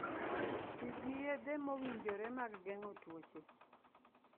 Ti gi yedhe mowinjore mag geng'o tuoche.